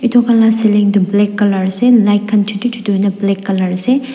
etu khan laga celing toh black colour ase light khan chutu chutu hoina black colour ase.